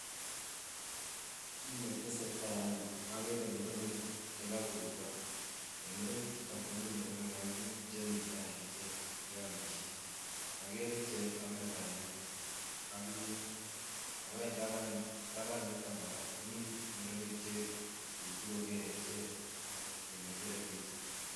Kineteseta en yu okere murenik chekorurukok, en murenik chuton komii murenik oengu chemita en ichek cheomishe, okere cheome banyek akimnyet ako en taban yuton korak komii murenik cheite kokere ichek kole bire picha.